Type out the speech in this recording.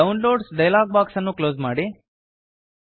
downloads dialog box ಅನ್ನು close ಮಾಡಿ